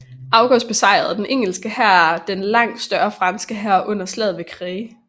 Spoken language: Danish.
August besejrede den engelske hær den langt større fransk hær under Slaget ved Crécy